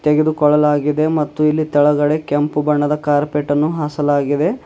ತೆಗೆದುಕೊಳ್ಳಲಾಗಿದೆ ಮತ್ತು ಇಲ್ಲಿ ಕೆಳಗಡೆ ಕೆಂಪು ಬಣ್ಣದ ಕಾರ್ಪೆಟ್ ಅನ್ನು ಹಾಸಲಾಗಿದೆ.